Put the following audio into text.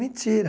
Mentira.